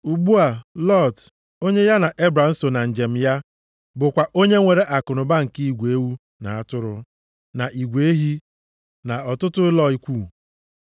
Ugbu a Lọt, onye ya na Ebram so na njem ya, bụkwa onye nwere akụnụba nke igwe ewu na atụrụ, na igwe ehi, na ọtụtụ ụlọ ikwu.